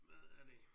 Hvad er det